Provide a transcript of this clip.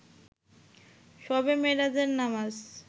শবে মেরাজের নামাজ